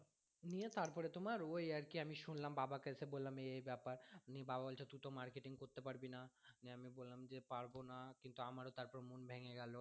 নিয়ে তারপরে তোমার ওই আরকি আমি শুনলাম দিয়ে বাবা কে এসে বললাম এই এই ব্যাপার দিয়ে বাবা বলছে তু তো marketing করতে পারবি না নিয়ে আমি বললাম যে পারবো না কিন্তু আমারও তারপর মন ভেঙে গেলো